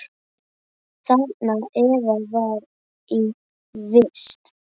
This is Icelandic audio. Þarna Eva var í vist.